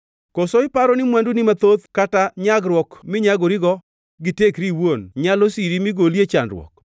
Koso iparo ni mwanduni mathoth kata nyagruok minyagori, gi tekri iwuon nyalo siri mi goli e chandruok?